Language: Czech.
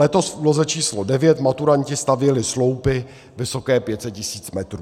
Letos v úloze číslo 9 maturanti stavěli sloupy vysoké 500 tisíc metrů.